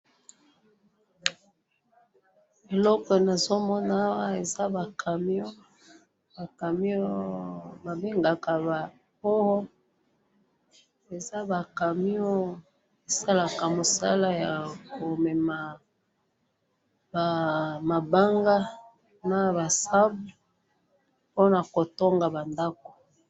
eloko nazomona awa eza ba camion ba camion ba bengaka ba poo eza ba camion esalaka musala ya komema ba mabanga naba sable pona kotonga ba ndaku